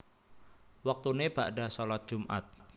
Wektune bakda shalat Jumat